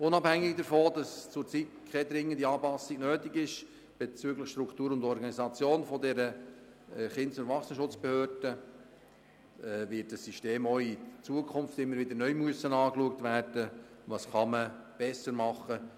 Unabhängig davon, dass zurzeit keine dringende Anpassung bezüglich Struktur und Organisation der KESB notwendig ist, muss man dieses System auch zukünftig immer wieder neu anschauen und überlegen, was man verbessern kann.